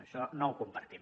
això no ho compartim